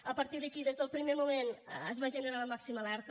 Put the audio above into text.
a partir d’aquí des del primer moment es va generar la màxima alerta